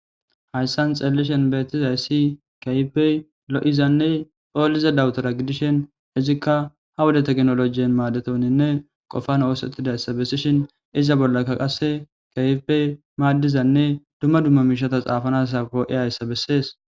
hayssan xeelishen beettizayssi kaibey lo7izanne poolize dawutora gidishen izikka ha woda teknolojiyen maadetoninne qofan oosettidayssa bessishin iza bollakka qasse kaifbey maaddizanne dumma dumma miishata xaafanasa koo7i ayssa bessees